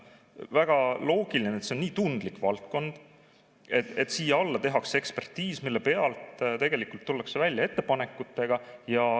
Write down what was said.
Väga loogiline, et kuna see on nii tundlik valdkond, siis tehakse ekspertiis, mille põhjal tullakse välja ettepanekutega.